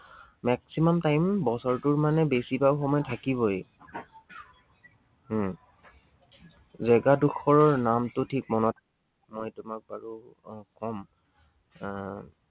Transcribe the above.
maximum time বছৰটোৰ মানে বেছিভাগ সময় থাকিবই। উম জেগা ডোখৰৰ নামটো ঠিক মনত মই তোমাক বাৰু কম। আহ